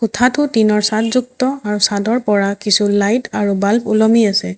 কোঠাটো টিংৰ চাদ যুক্ত আৰু চাদৰ পৰা কিছু লাইট আৰু বাল্ব ওলমি আছে।